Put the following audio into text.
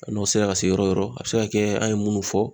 N'o sera ka se yɔrɔ yɔrɔ ,a bɛ se ka kɛ an ye minnu fɔ.